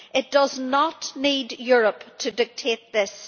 It does not need Europe to dictate this.